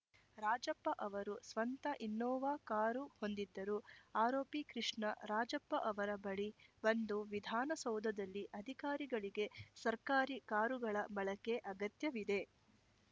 ರಾಜಪ್ಪ ಅವರು ಸ್ವಂತ Innova car ಹೊಂದಿದ್ದರು ಆರೋಪಿ ಕೃಷ್ಣ ರಾಜಪ್ಪ ಅವರ ಬಳಿ ಬಂದು ವಿಧಾನಸೌಧದಲ್ಲಿ ಅಧಿಕಾರಿಗಳಿಗೆ ಸರ್ಕಾರಿ ಕಾರುಗಳ ಬಳಕೆ ಅಗತ್ಯವಿದೆ